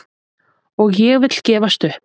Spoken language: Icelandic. Og ég vil gefst upp!